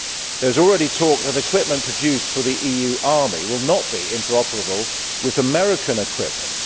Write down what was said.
There is already talk that equipment produced for the EU army will not be interoperable with American equipment.